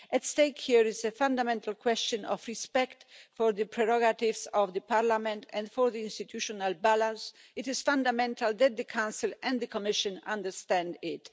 At stake here is a fundamental question of respect for the prerogatives of the Parliament and for the institutional balance. It is fundamental that the Council and the Commission understand it.